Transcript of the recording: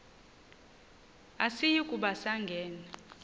asiyi kuba sangena